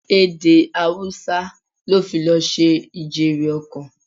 Èdè Haúsá la fi lọ ṣe ijere-okan.